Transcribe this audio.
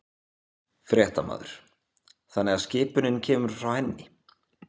Fréttamaður: Þannig að skipunin kemur frá henni?